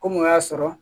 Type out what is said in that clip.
Ko mun y'a sɔrɔ